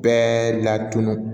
Bɛɛ la tununu